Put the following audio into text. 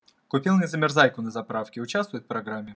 купил незамерзайку на заправке участвует в программе